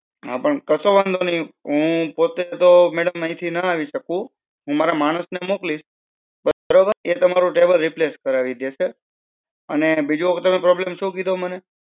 હા પણ કસો વાંધો નઈ, હું પોતે તો madam આઈથી ના આવી શકું. હું મારા માણસ ને મોકલીશ. બરોબર? તે તમારો table replace કરાવી દે છે, અને બીજો problem સુ કીધો મને